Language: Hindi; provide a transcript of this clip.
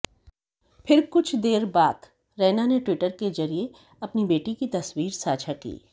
फिर कुछ देर बात रैना ने ट्विटर के जरिये अपनी बेटी की तस्वीर साझा की